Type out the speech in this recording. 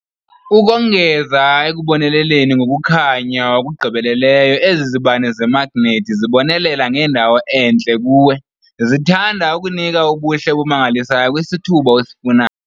Ukongeza ekuboneleleni ngokukhanya okugqibeleleyo, ezi zibane zemagnethi zibonelela ngendawo entle kuwe, zintanda, enika ubuhle obumangalisayo kwisithuba osifunayo.